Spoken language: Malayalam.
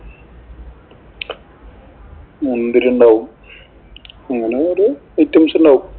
മുന്തിരി ഉണ്ടാവും, അങ്ങനെ ഓരോ items ഉണ്ടാവും.